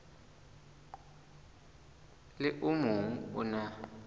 le o mong o na